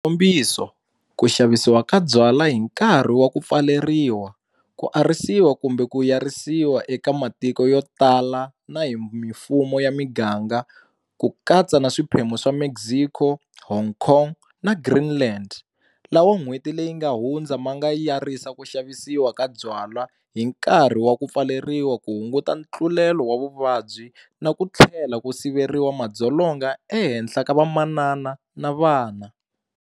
Xikombiso, ku xavisiwa ka byalwa hi nkarhi wa ku pfaleriwa, ku arisiwa kumbe ku yirisiwa eka matiko yotala na hi mifumo ya miganga, ku katsa na swiphemu swa Mexico, Hong Kong na Greenland lawa n'hweti leyi nga hundza ma nga yirisa ku xavisiwa ka byala hi nkarhi wa ku pfaleriwa ku hunguta ntlulelo wa vuvabyi na ku tlhela ku siveriwa madzolonga ehenhla ka vamanana na vana.